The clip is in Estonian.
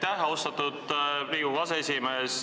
Aitäh, austatud Riigikogu aseesimees!